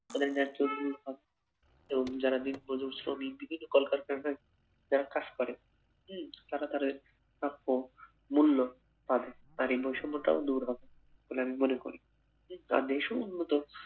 তাদের ন্যায্য তো যারা দিনমজুর শ্রমিক বিভিন্ন কলকারখানায় যারা কাজ করে উম তারা তারে প্রাপ্য মূল্য পাবে তার এই বৈষম্যতা ও দূর হবে বলে আমি মনে করি উম উন্নত